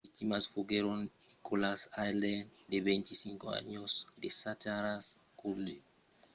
las victimas foguèron nicholas alden de 25 ans e zachary cuddeback de 21 ans. cuddeback èra estat lo conductor